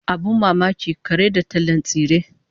Abin mamaki, kare da tallan tsire!